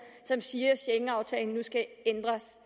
som siger at schengenaftalen nu skal ændres